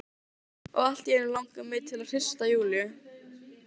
Áður höfðu verið notaðar legur úr eir sem reyndust illa.